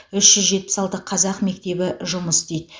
үш жүз жетпіс алты қазақ мектебі жұмыс істейді